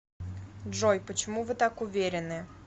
джой почему вы так уверены